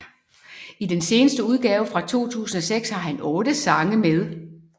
I den seneste udgave fra 2006 har han 8 sange med